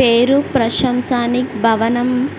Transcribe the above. పేరు ప్రశంసానిక్ భవనం.